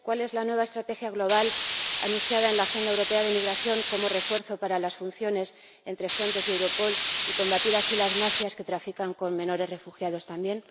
¿Cuál es la nueva estrategia global anunciada en la Agenda Europea de Migración como refuerzo de las funciones entre Frontex y Europol para combatir así las mafias que trafican con menores refugiados también?